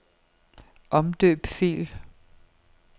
Omdøb fil.